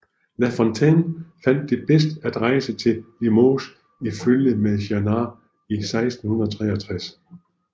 La Fontaine fandt det bedst at rejse til Limoges i følge med Jannart i 1663